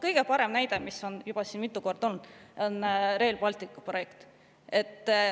Kõige parem näide, mis on juba mitu korda olnud, on Rail Balticu projekt.